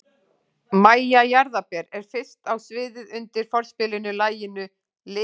MÆJA JARÐARBER er fyrst á sviðið undir forspilinu að laginu Litir.